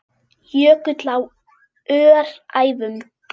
Jökull á Öræfum.